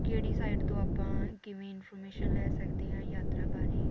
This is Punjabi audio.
ਕਿਹੜੀ site ਤੋਂ ਆਪਾਂ ਕਿਵੇਂ information ਲੈ ਸਕਦੇ ਆ ਯਾਤਰਾ ਬਾਰੇ